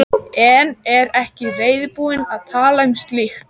En er ekki reiðubúin að tala um slíkt.